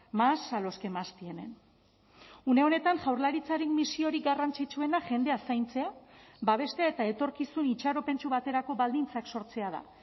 más a los que más tienen une honetan jaurlaritzaren misiorik garrantzitsuena jendea zaintzea babestea eta etorkizun itxaropentsu baterako baldintzak sortzea da